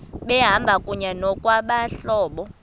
behamba kunye ngokwabahlobo